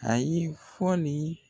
Ayi fɔli